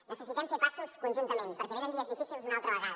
necessitem fer passos conjuntament perquè venen dies difícils una altra vegada